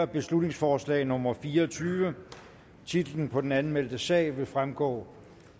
beslutningsforslag nummer b fire og tyve titlen på den anmeldte sag vil fremgå